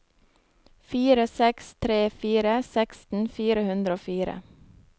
fire seks tre fire seksten fire hundre og fire